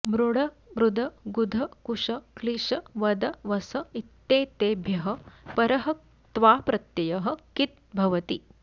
मृड मृद गुध कुष क्लिश वद वस इत्येतेभ्यः परः क्त्वाप्रत्ययः किद् भवति